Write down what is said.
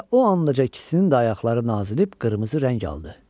Elə o ancaq ikisinin də ayaqları nazilib qırmızı rəng aldı.